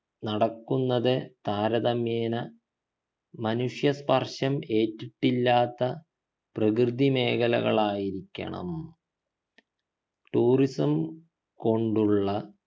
നടക്കുന്നത് താരതമ്യേന മനുഷ്യ സ്‌പർശം ഏറ്റിട്ടില്ലാത്ത പ്രകൃതി മേഖലകളായിരിക്കണം tourism കൊണ്ടുള്ള